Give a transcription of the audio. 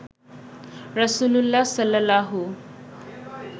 রাসূলুল্লাহ সাল্লাল্লাহু